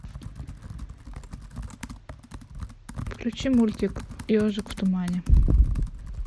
включи мультик ежик в тумане